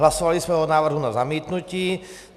Hlasovali jsme o návrhu na zamítnutí.